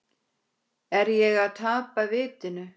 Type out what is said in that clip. Er ég að tapa vitinu?